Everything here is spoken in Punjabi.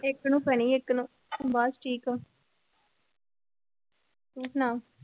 ਇੱਕ ਨੂੰ ਪੈਣੀ ਇੱਕ ਨੂੰ ਬਸ ਠੀਕ ਆ ਤੂੰ ਸੁਣਾ